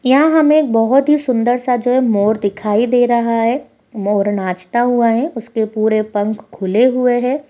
यहाँ हमें एक बहुत ही सुन्दर सा जो है मोर दिखाई दे रहा है| मोर नाचता हुआ है उसके पूरे पंख खुले हुए हैं|